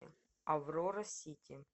аврора сити